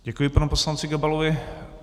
Děkuji, panu poslanci Gabalovi.